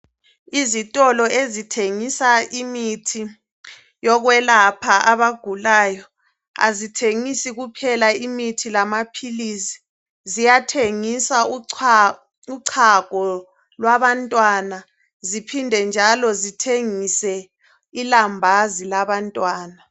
Izitolo ezithengisa imithi yokwelapha abagulayo azithengisi kuphela imithi lamaphilisi, ziyathengisa uchago lwabantwana, ziphinde njalo zithengise ilambazi labantwana.